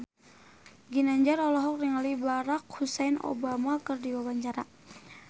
Ginanjar olohok ningali Barack Hussein Obama keur diwawancara